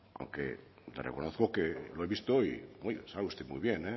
aunque le reconozco que lo he visto y sale usted muy bien